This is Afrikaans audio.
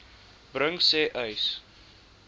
bring sê uys